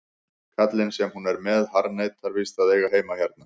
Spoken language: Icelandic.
Kallinn sem hún er með harðneitar víst að eiga heima hérna.